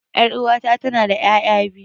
Yar'uwata tanada ƴaƴa biyu.